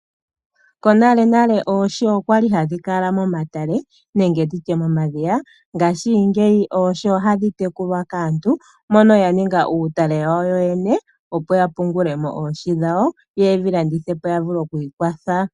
Monalenale oohi okwa li hadhi kala momatale nenge nditye momadhiya, ngaashingeyi oohi ohadhi tekulwa kaantu moka ya ninga uutale wawo yo yene yapungele mo oohi dhawo, yo yedhi landithe po ya vule okwiikwatha.